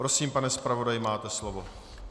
Prosím, pane zpravodaji, máte slovo.